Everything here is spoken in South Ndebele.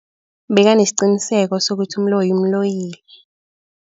Bekanesiqiniseko sokuthi umloyi umloyile.